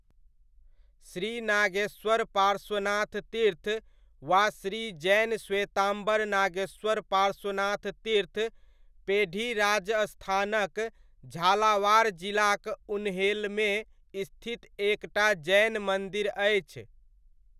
श्री नागेश्वर पार्श्वनाथ तीर्थ वा श्री जैन श्वेताम्बर नागेश्वर पार्श्वनाथ तीर्थ पेढ़ी राजस्थानक झालावाड़ जिलाक उन्हेलमे स्थित एक टा जैन मन्दिर अछि।